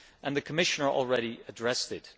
The Commissioner has already addressed it.